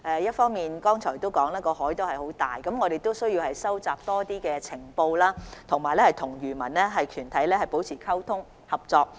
議員剛才提到海洋那麼大，我們需要收集更多情報，以及與漁民團體保持溝通、合作。